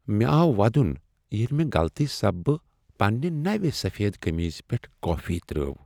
مےٚ آو ودُن ییٚلہ مےٚ غلطی سببہ پنٛنہ نو سفید کٔمیٖز پٮ۪ٹھ کافی ترٛٲو۔